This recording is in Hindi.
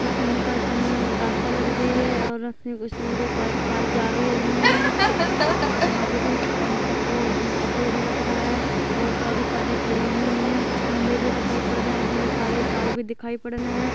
रास्ता लग रही है और उसमें दो कार गाड़ी जा भी रही हैं यहाँ पे कोई ऑफिस सा लग रहा है बहुत सारी कार खड़ी हुई हैं कुछ खम्भे भी दिखाई पड़ रहे हैं जिनमें काले तार भी दिखाई पड़ रहे है।